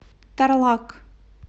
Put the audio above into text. тарлак